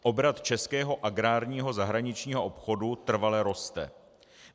Obrat českého agrárního zahraničního obchodu trvale roste.